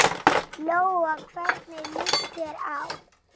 Lóa: Hvernig líst þér á?